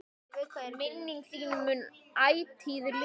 Minning þín mun ætíð lifa.